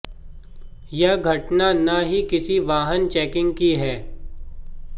यह घटना न ही किसी वाहन चैकिंग की है